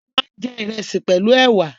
A máa ń jẹ ìrẹsì pẹ̀lú ẹ̀wà